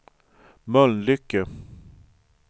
Mölnlycke